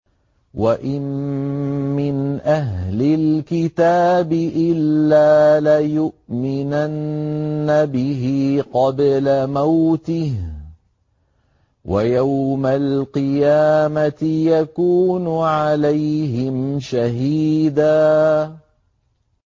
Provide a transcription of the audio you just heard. وَإِن مِّنْ أَهْلِ الْكِتَابِ إِلَّا لَيُؤْمِنَنَّ بِهِ قَبْلَ مَوْتِهِ ۖ وَيَوْمَ الْقِيَامَةِ يَكُونُ عَلَيْهِمْ شَهِيدًا